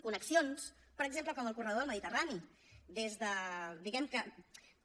connexions per exemple com el corredor del mediterrani des de diguem ne que